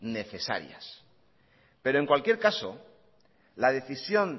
necesarias pero en cualquier caso la decisión